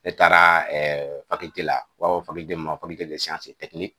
Ne taara ɛɛ u b'a fɔ mun ma